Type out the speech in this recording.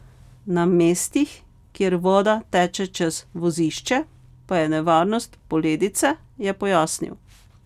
Na mestih, kjer voda teče čez vozišče, pa je nevarnost poledice, je pojasnil.